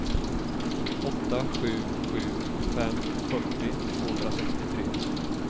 åtta sju sju fem fyrtio tvåhundrasextiotre